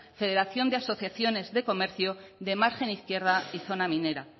federación de asociaciones de comercio de margen izquierda y zona minera